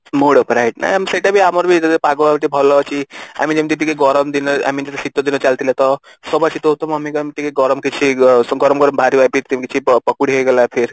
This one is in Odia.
mood ଉପରେ ଆଉ ସେଇଟା ବି ଆମର ବି ଯଦି ପାଗ ଟିକେ ଭଲ ଅଛି ଆମେ ଯେମିତି ଟିକେ ଗରମ ଦିନ I mean ଟିକେ ଶୀତ ଦିନ ଚାଲିଥିଲେ ତ ଗରମ ଗରମ ବାହାରିବ ପକୁଡି ହେଇଗଲା